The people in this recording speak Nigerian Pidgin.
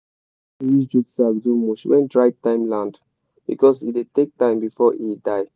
i like dey use jute sack do mulch when dry time land because e dey take time before e die.